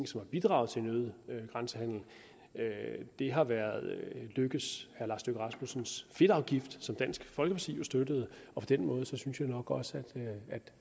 som har bidraget til en øget grænsehandel har været herre lars løkke rasmussens fedtafgift som dansk folkeparti jo støttede på den måde synes jeg nok også at